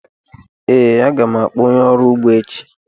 Ee, a ga m akpọ onye ọrụ ugbo echi.